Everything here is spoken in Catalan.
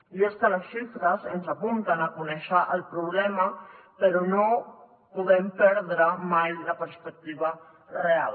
i és que les xifres ens apunten a conèixer el problema però no podem perdre mai la perspectiva real